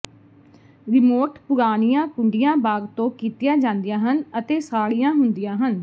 remote ਪੁਰਾਣੀਆਂ ਕੁੰਡੀਆਂ ਬਾਗ ਤੋਂ ਕੀਤੀਆਂ ਜਾਂਦੀਆਂ ਹਨ ਅਤੇ ਸਾੜੀਆਂ ਹੁੰਦੀਆਂ ਹਨ